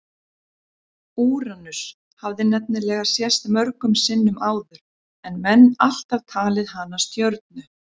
Úranus hafði nefnilega sést mörgum sinnum áður en menn alltaf talið hana stjörnu.